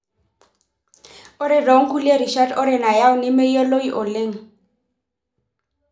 Ore tonkulie rishat ore nayau nemeyioloi oleng.